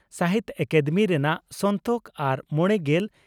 ᱥᱟᱦᱤᱛᱭᱚ ᱟᱠᱟᱫᱮᱢᱤ ᱨᱮᱱᱟᱜ ᱥᱚᱱᱛᱚᱠ ᱟᱨ ᱢᱚᱲᱮᱜᱮᱞ